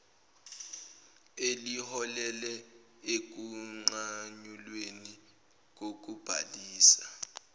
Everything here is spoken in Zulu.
eliholele ekunqanyulweni kokubhalisa